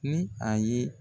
Ni a ye